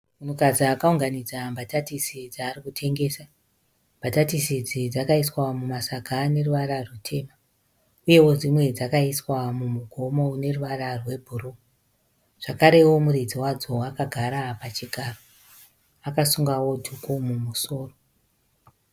Munhukadzi akaunganidza mbatatisi dzaari kutengesa. Mbatatisi idzi dzakaiswa mumasaga aneruvara rutema Uyewo dzimwe dzakaiswa mumugomo mune ruvara rwe bhuruu. Zvakarewo muridzi wadzo akagara pachigaro, akasungawo dhuku mumusoro .